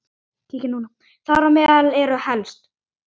Þar á meðal eru helst